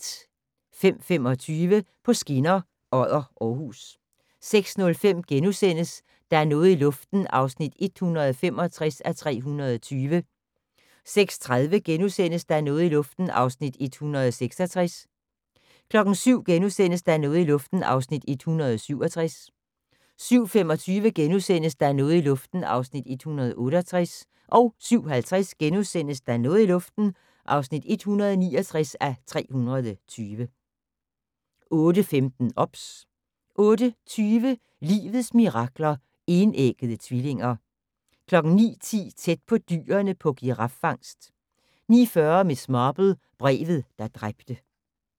05:25: På skinner: Odder-Aarhus 06:05: Der er noget i luften (165:320)* 06:30: Der er noget i luften (166:320)* 07:00: Der er noget i luften (167:320)* 07:25: Der er noget i luften (168:320)* 07:50: Der er noget i luften (169:320)* 08:15: OBS 08:20: Livets mirakler: Enæggede tvillinger 09:10: Tæt på dyrene på giraffangst 09:40: Miss Marple: Brevet, der dræbte